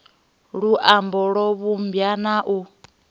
luambo lwo vhumbwa na u